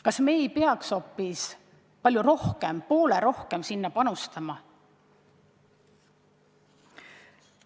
Kas me ei peaks ise palju rohkem, lausa poole rohkem sellesse panustama?